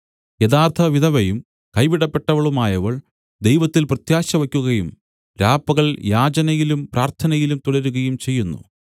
യഥാർത്ഥ വിധവയും കൈവിടപ്പെട്ടവളുമായവൾ ദൈവത്തിൽ പ്രത്യാശവക്കുകയും രാപ്പകൽ യാചനയിലും പ്രാർത്ഥനയിലും തുടരുകയും ചെയ്യുന്നു